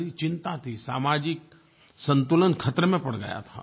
बड़ी चिंता थी सामाजिक संतुलन खतरे में पड़ गया था